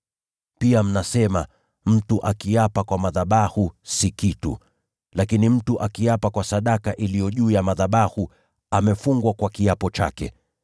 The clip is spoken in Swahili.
Pia mnasema, ‘Mtu akiapa kwa madhabahu, si kitu; lakini mtu akiapa kwa sadaka iliyo juu ya madhabahu, amefungwa kwa kiapo chake’